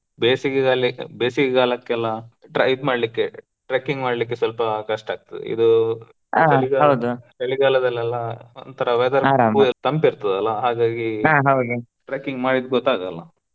ಬೇಸಿಗೆ ಕಾಲಿ~ ಬೇಸಿಗೆ ಕಾಲಕ್ಕೆಲ್ಲ tra~ ಇದ್ ಮಾಡ್ಲಿಕ್ಕೆ trekking ಮಾಡ್ಲಿಕ್ಕೆ ಸ್ವಲ್ಪ ಕಷ್ಟ ಆಕ್ತದೆ ಇದು. ಚಳಿಗಾಲ ದಲ್ಲೆಲ್ಲ ಒಂತರಾ ತಂಪ ಇರ್ತದಲ್ಲ ಹಾಗಾಗಿ trekking ಮಾಡಿದ್ದ ಗೊತ್ತಾಗಲ್ಲ.